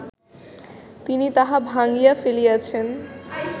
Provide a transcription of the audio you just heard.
তিনি তাহা ভাঙ্গিয়া ফেলিয়াছেন